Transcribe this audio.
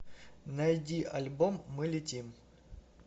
найди альбом мы летим